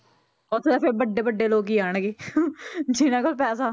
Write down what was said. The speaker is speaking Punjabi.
ਉੱਥੇ ਤਾਂ ਫਿਰ ਵੱਡੇ ਵੱਡੇ ਲੋਕ ਹੀ ਆਉਣਗੇ ਜਿਹਨਾਂ ਕੋਲ ਪੈਸਾ